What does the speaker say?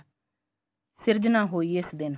ਸਿਰਜਣਾ ਹੋਈ ਏ ਇਸ ਦਿਨ